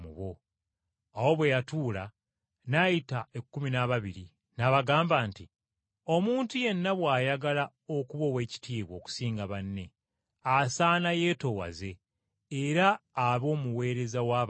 Awo bwe yatuula n’ayita ekkumi n’ababiri, n’abagamba nti, “Omuntu yenna bw’ayagala okuba oweekitiibwa okusinga banne, asaana yeetoowaze era abe omuweereza w’abalala.”